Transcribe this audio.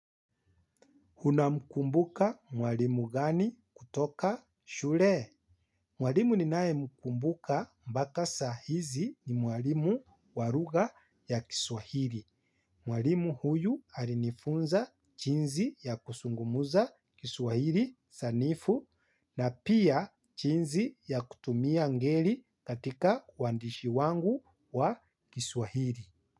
Unamkumbuka mwalimu gani kutoka shule? Mwalimu ninaemkumbuka mpaka saa hizi ni mwalimu wa lugha ya kiswahili. Mwalimu huyu alinifunza jinsi ya kuzungumuza kiswahili sanifu na pia jinsi ya kutumia ngeli katika wandishi wangu wa kiswahili.